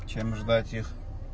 чем ждать их